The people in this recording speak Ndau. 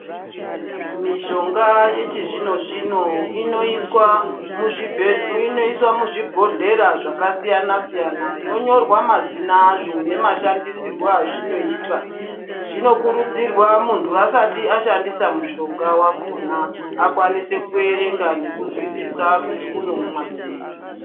Mishonga yechizvino zvino inoiswa muzvibhodhleya zvakasiyana siyana yonyorwa mazina azvo nemashandisirwo azvinoita zvinokurudzirwa muntu asati ashandise mushonga wakona akwanise kuerenga nekuzwisisa kuti unoumwa sei.